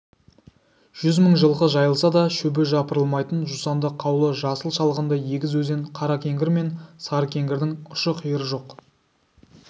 жүз мың жылқы жайылса да шөбі жапырылмайтын жусанды қаулы жасыл шалғынды егіз өзен қаракеңгір мен сарыкеңгірдің ұшы-қиыры жоқ